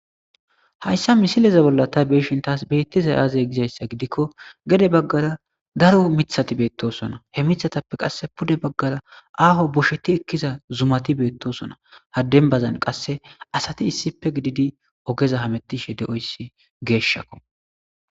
hayssa misileze bolla tay beeshin taas beettiza aazey gizayssa gidikko gede baggara daro mithati beettosona he mithatappe qasse pude baggara aaho bosheti ekkiza zumati beettosona hadenbazan qasse asati issipe gididi ogeza hamettishe de7oyssi geeshshakko